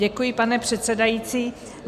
Děkuji, pane předsedající.